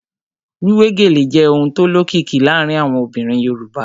Wíwé gèlè jẹ́ ohun tó lókìkí láàárín àwọn obìnrin Yorùbá